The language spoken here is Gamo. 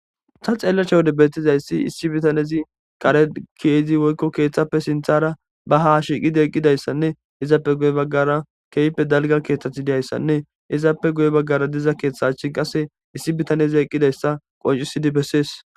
Ta xeelashe wode beetizayssi issi bitanezi kare ke'idi woyko keethappe sinthara ba haa shiiqidi eqqidayssanne izappe guye baggara keehippe dalgga keethati de'izayssanne izappe guye baggara de'iza keetha achin qase issi bitaneza eqqidayssa qonccisidi besees.